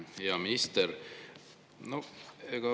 Hea minister!